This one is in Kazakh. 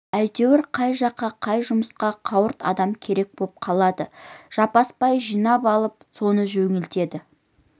әйтеуір қай жаққа қай жұмысқа қауырт адам керек боп қалады жаппасбай жинап алып соны жөнелтеді